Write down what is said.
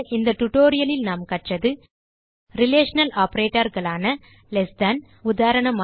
இந்த tutorialலில் நாம் கற்றது ரிலேஷனல் operatorகளான லெஸ் than உதாரணமாக